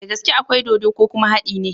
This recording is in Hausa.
Dagaske akwai dodo ko kuma hadi ne?